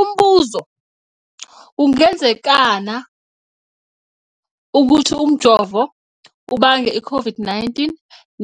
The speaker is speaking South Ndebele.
Umbuzo, kungenzekana ukuthi umjovo ubange i-COVID-19